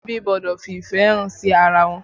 Molebi gbọ́dọ̀ fi ìfẹ́ hàn sí ara wọn